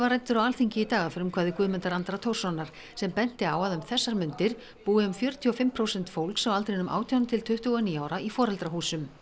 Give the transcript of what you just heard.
ræddur á Alþingi í dag að frumkvæði Guðmundar Andra Thorssonar sem benti á að um þessar mundir búi um fjörutíu og fimm prósent fólks á aldrinum átján til tuttugu og níu ára í foreldrahúsum